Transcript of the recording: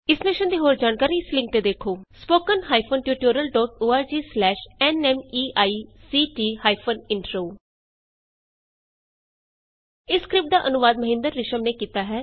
ਇਸ ਮਿਸ਼ਨ ਦੀ ਹੋਰ ਜਾਣਕਾਰੀ ਇਸ ਲਿੰਕ ਤੇ ਉਪਲੱਭਦ ਹੈ160 spoken hyphen tutorial dot O R G slash N M E I C T hyphen intro ਇਸ ਸਕਰਿਪਟ ਦਾ ਅਨੁਵਾਦ ਮਹਿੰਦਰ ਰਿਸ਼ਮ ਨੇ ਕੀਤਾ ਹੈ